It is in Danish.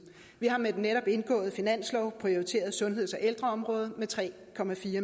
vi har med den netop indgåede finanslov prioriteret sundheds og ældreområdet med tre